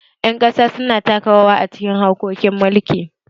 Ƴan ƙasa su na taka rawa a cikin harkokin mulki